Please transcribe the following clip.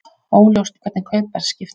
Óljóst hvernig kaupverð skiptist